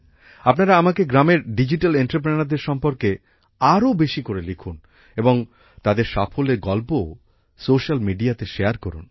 আপনারা আমাকে গ্রামের ডিজিটাল Enterpreneurদের সম্পর্কে আরও বেশি করে লিখুন এবং তাদের সাফল্যের গল্পও সোশ্যাল মিডিয়াতে শেয়ার করুন